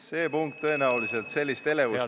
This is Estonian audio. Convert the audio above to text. See punkt tõenäoliselt nii suurt elevust ei põhjusta.